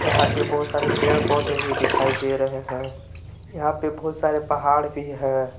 यहां पे बहुत सारे पेड़ पौधे भी दिखाई दे रहे हैं यहां पे बहुत सारे पहाड़ भी है।